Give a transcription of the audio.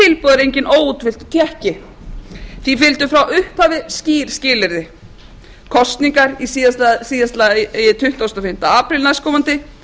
er enginn óútfylltur tékki því fylgdu frá upphafi skýr skilyrði kosningar í síðasta lagi tuttugasta og fimmta apríl næstkomandi